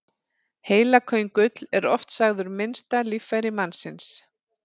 Heilaköngull er oft sagður minnsta líffæri mannsins.